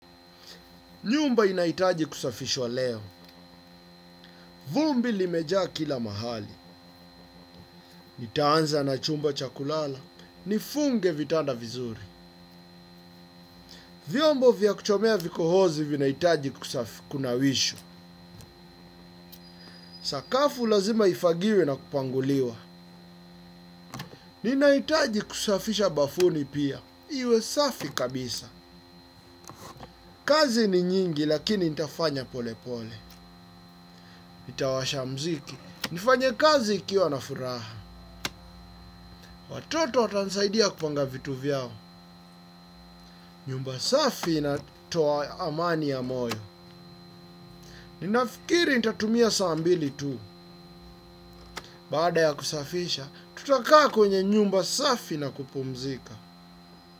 Nyumba inaitaji kusafishwa leo. Vumbi limejaa kila mahali. Nitaanza na chumba cha kulala. Nifunge vitanda vizuri. Vyombo vya kuchomea vikohozi vinahitaji kunawisha. Sakafu lazima ifagiwe na kupanguliwa. Ninaitaji kusafisha bafuni pia. Iwe safi kabisa. Kazi ni nyingi lakini nitafanya pole pole. Nitawasha mziki. Nifanye kazi ikiwa na furaha. Watoto watanisaidia kupanga vitu vyao. Nyumba safi natoa amani ya moyo. Ninafikiri ntatumia saa mbili tu. Baada ya kusafisha, tutakaa kwenye nyumba safi na kupumzika.